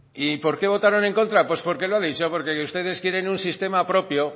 y por qué votaron en contra pues porque lo ha dicho porque ustedes quieren un sistema propio